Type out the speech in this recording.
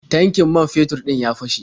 Tankin man fetur ɗin ya fashe.